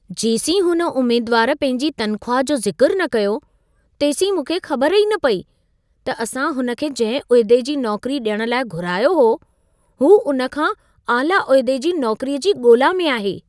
जेसीं हुन उमेदवारु पंहिंजी तनख़्वाह जो ज़िक्रु न कयो, तेसीं मूंखे ख़बर ई न पेई, त असां हुन खे जंहिं उहिदे जी नौकरी ॾियण लाइ घुरायो हो, हू उन खां आला उहिदे जी नौकरीअ जी ॻोल्हा में आहे।